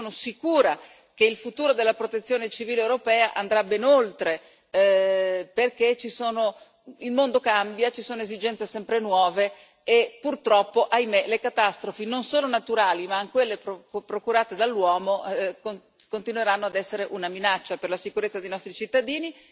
Io sono sicura che il futuro della Protezione civile europea andrà ben oltre, perché il mondo cambia, ci sono esigenze sempre nuove e, purtroppo, le catastrofi non solo naturali ma anche quelle procurate dall'uomo continueranno ad essere una minaccia per la sicurezza dei nostri cittadini.